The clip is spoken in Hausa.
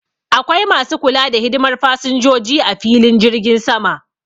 Akwai Masu kula da hidimar fassinjoji ah filin jirgin Sama.